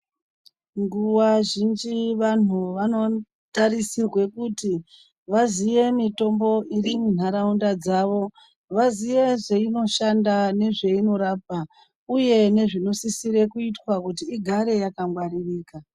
Nguwa zhinhj vantu vanotarisirwe kuti vaziye mitombo iri muntaraunda dzavo. Vaziye zveinoshanda nezveinorapa uye nezvinosisire kuitwa kuti igare yakangwaririka.